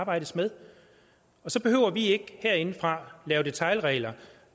arbejdes med og så behøver vi ikke herindefra lave detailregler